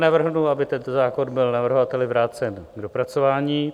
Navrhnu, aby tento zákon byl navrhovateli vrácen k dopracování.